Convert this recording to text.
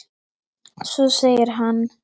Svo segir hann